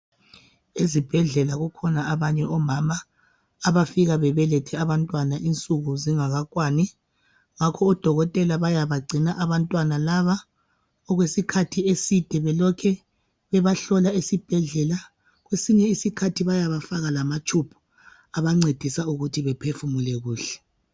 Ezibhedlela kukhona abanye omama abafika bebelethe abantwana insuku zingakakwani ngakho odokotela bayabagcina abantwana laba okwesikhathi eside bahlola isibhedlela kwesinye isikhathi bayabafaka lamatshumbu ancedisa ukuthii bephefumule kuhle.